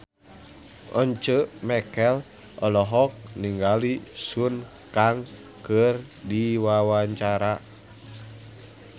Once Mekel olohok ningali Sun Kang keur diwawancara